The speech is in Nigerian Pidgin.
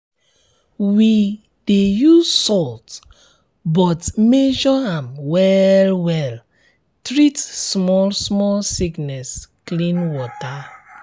we dey use salt but measure am well well treat small small sickness clean water